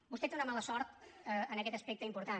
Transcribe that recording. vostè té una mala sort en aquest aspecte important